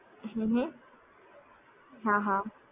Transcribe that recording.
હં હ હા હા